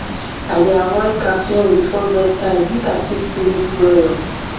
i dey avoid caffeine before bedtime make i fit sleep well